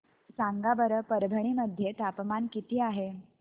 सांगा बरं परभणी मध्ये तापमान किती आहे